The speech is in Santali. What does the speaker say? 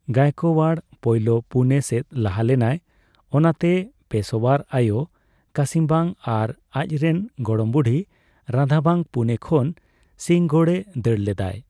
ᱜᱟᱭᱮᱠᱳᱭᱟᱲ ᱯᱳᱭᱞᱳ ᱯᱩᱱᱮ ᱥᱮᱫ ᱞᱟᱦᱟ ᱞᱮᱱᱟᱭ ᱾ ᱚᱱᱟᱛᱮ ᱯᱮᱥᱳᱭᱟᱨ ᱟᱭᱳ ᱠᱟᱥᱤᱵᱟᱝ ᱟᱨ ᱟᱪ ᱨᱮᱱ ᱜᱚᱲᱚᱢ ᱵᱩᱰᱷᱤ ᱨᱟᱫᱷᱟᱵᱟᱝ ᱯᱩᱱᱮ ᱠᱷᱚᱱ ᱥᱤᱝᱦᱚᱜᱚᱲ ᱮ ᱫᱟᱹᱲ ᱞᱮᱫᱟᱭ ᱾